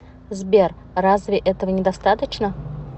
сбер разве этого недостаточно